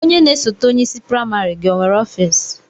Onye na-esote onye isi praịmarị gị onwere ọfiisi?